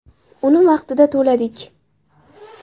Uni vaqtida to‘ladik.